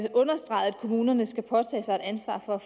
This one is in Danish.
kommunerne skal påtage sig et ansvar for at